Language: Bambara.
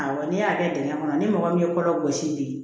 Awɔ n'i y'a kɛ dingɛn kɔnɔ ni mɔgɔ min ye kɔlɔn gosi bi